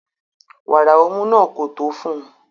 Wàrà ọmú náà kò tó fún un